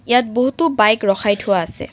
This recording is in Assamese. ইয়াত বহুতো বাইক ৰখাই থোৱা আছে।